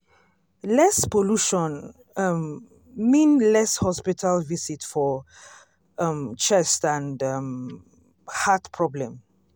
less pollution um mean less hospital visit for um chest and um heart problem.